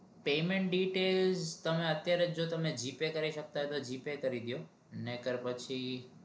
payment detail તમે અત્યારે તમે g pay કરાવી શકતાં હોય તો g pay કરી દો